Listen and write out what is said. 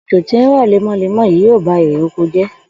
Òjò tí ń rò̩ lémo̩lémo̩ yìí ýóò ba irè oko jé̩